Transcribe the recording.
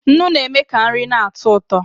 Nnu na-eme ka nri na-atọ ụtọ